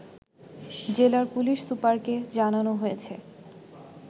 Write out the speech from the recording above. জেলার পুলিশ সুপারকে জানানো হয়েছে